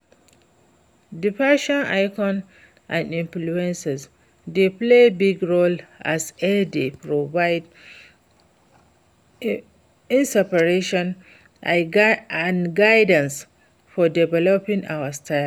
di fashion icons and influencers dey play big role as e dey provide inspiration and guidance for developing our style.